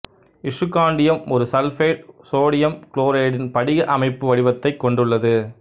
இசுக்காண்டியம் ஒருசல்பைடு சோடியம் குளோரைடின் படிக அமைப்பு வடிவத்தைக் கொண்டுள்ளது